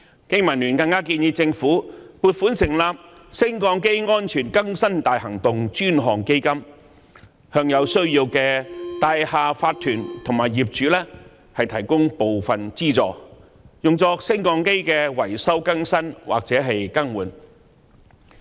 經民聯更建議政府撥款成立"升降機安全更新大行動專項基金"，向有需要的大廈業主立案法團及業主提供部分資助，用作升降機維修、更新或更換。